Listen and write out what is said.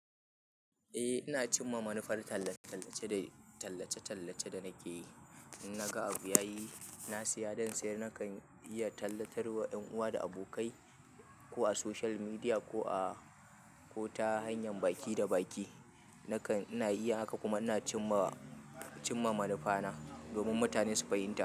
Eh ina cimma manufar tallace-tallace da tallace-tallace da nake yi. Na ga abu yayi, na siya, don sai nakan iya tallatarwa 'yan uwa da abokai ko a social media ko a, ko ta hanyar baki da baki. Nakan, ina iya haka kuma ina cimma, cimma manufa na domin mutane su fahimta.